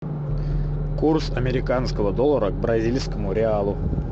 курс американского доллара к бразильскому реалу